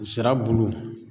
Sirabulu